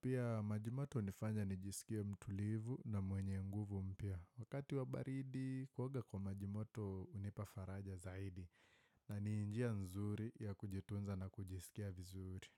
Pia majimoto unifanya nijisikie mtulivu na mwenye nguvu mpya. Wakati wa baridi, kuoga kwa majimoto unipafaraja zaidi na ni njia nzuri ya kujitunza na kujisikia vizuri.